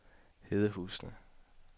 Hedehusene